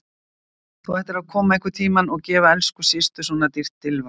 Þú ættir einhvern tíma að gefa elsku systur svona dýrt ilmvatn.